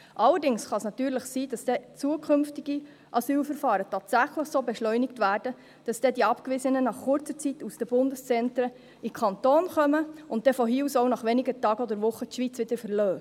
Allerdings kann es natürlich sein, dass zukünftige Asylverfahren tatsächlich so beschleunigt werden, dass dann die Abgewiesenen nach kurzer Zeit aus den Bundeszentren in den Kanton kommen und dann von hier aus, nach wenigen Tagen oder Wochen, die Schweiz wieder verlassen.